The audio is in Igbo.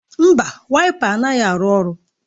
Mba, Waịpa anaghị arụ ọrụ